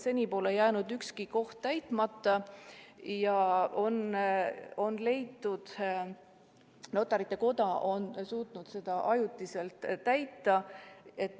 Seni pole jäänud ükski koht täitmata ja on leitud, et Notarite Koda on suutnud seda kas või ajutiselt täita.